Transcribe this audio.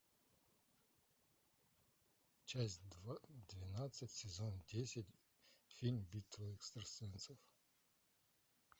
часть двенадцать сезон десять фильм битва экстрасенсов